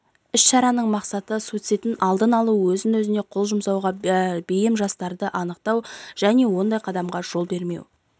іс-шараның мақсаты суицидтін алдын алу өз-өзіне қол жұмсауға бейім жастарды анықтау және ондай қадамға жол бермеу